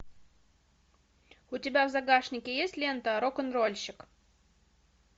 у тебя в загашнике есть лента рок н рольщик